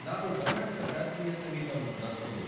నాకు కర్ణాటక శాస్త్రీయ సంగీతం నచ్చుతుంది